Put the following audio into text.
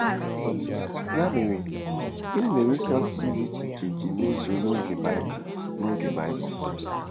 Ya mere, gịnị mere ịsụ asụsụ dị iche iche ji mezuo n'oge Baịbụl n'oge Baịbụl?